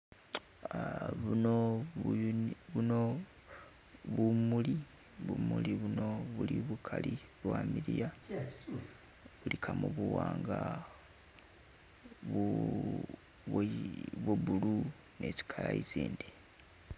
Buno bumuli, bumuli buno buli bugali bwamiliya buligamu buwanga, bwo blue ni tsi color tsindi